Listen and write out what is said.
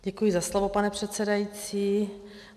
Děkuji za slovo, pane předsedající.